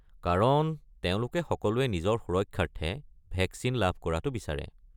কাৰণ তেওঁলোকে সকলোৱে নিজৰ সুৰক্ষাৰ্থে ভেকচিন লাভ কৰাটো বিচাৰে।